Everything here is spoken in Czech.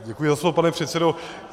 Děkuji za slovo, pane předsedo.